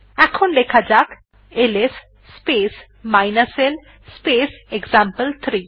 এখন লেখা যাক LS space l space example three